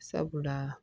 Sabula